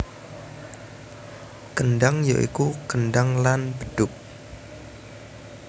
Kendhang ya iku kendhang lan bedhug